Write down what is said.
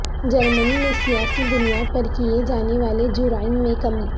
جرمنی میں سیاسی بنیاد پر کیے جانے والے جرائم میں کمی